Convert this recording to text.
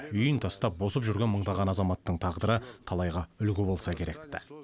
үйін тастап босып жүрген мыңдаған азаматтың тағдыры талайға үлгі болса керек ті